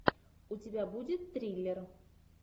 у тебя будет триллер